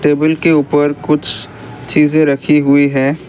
Table के ऊपर कुछ चीजें रखी हुई है।